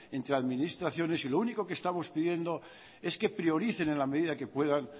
entre administraciones y lo único que estamos pidiendo es que prioricen en la medida que puedan